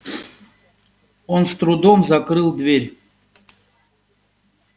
он с трудом закрыл дверь